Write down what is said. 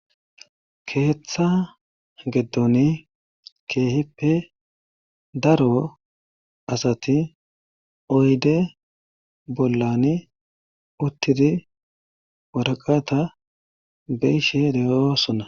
keeththa geddon keehippe daro asati oyde bollani uttidi waraqata beishe de7osona